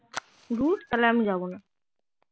ধুর তালে আমি যাবো না